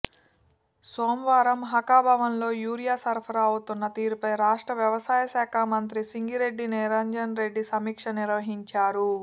సోమవారం హాకాభవన్లో యూరియా సరఫరా అవుతున్న తీరుపై రాష్ట్ర వ్యవసాయ శాఖా మంత్రి సింగిరెడ్డి నిరంజన్ రెడ్డి సమీక్ష నిర్వహించారు